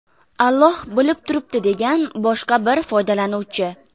Alloh bilib turibdi”, degan boshqa bir foydalanuvchi.